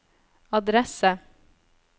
adresse